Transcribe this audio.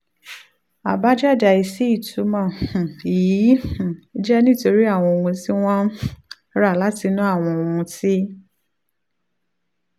àbájáde àìsí ìtumọ̀ um yìí um jẹ́ nítorí àwọn ohun tí wọ́n ń um ra látinú àwọn ohun tí